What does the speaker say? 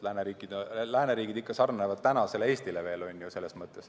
Lääneriigid ikka sarnanevad veel tänase Eestiga selles mõttes.